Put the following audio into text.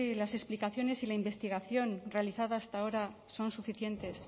las explicaciones y la investigación realizada hasta ahora son suficientes